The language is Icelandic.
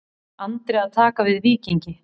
Andri að taka við Víkingi